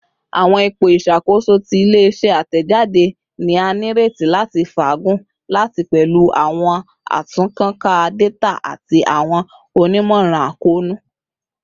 Awọn ipo iṣakoso ti ile-iṣẹ atẹjade ni a nireti lati faagun lati pẹlu awọn atunnkanka data ati awọn onimọran akoonu